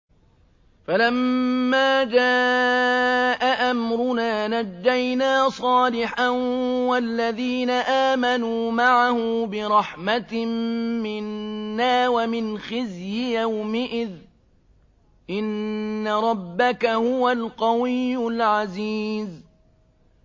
فَلَمَّا جَاءَ أَمْرُنَا نَجَّيْنَا صَالِحًا وَالَّذِينَ آمَنُوا مَعَهُ بِرَحْمَةٍ مِّنَّا وَمِنْ خِزْيِ يَوْمِئِذٍ ۗ إِنَّ رَبَّكَ هُوَ الْقَوِيُّ الْعَزِيزُ